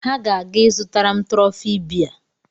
Ha ga-aga ịzụtara m trọfị bea